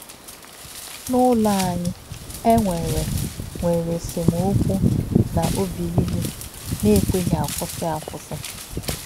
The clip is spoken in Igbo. N’ụlọ anyị, e nwere nwere esemokwu na òbí ìlù na-ekwèghị akwụsị akwụsị.